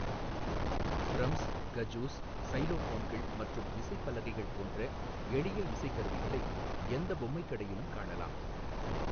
Drums, kazoos, சைலோஃபோன்கள் மற்றும் விசைப்பலகைகள் போன்ற எளிய இசைக்கருவிகளை எந்த பொம்மை கடையிலும் காணலாம்.